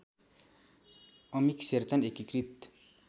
अमिक शेरचन एकीकृत